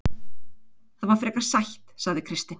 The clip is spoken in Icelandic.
Það var frekar sætt, sagði Kristinn.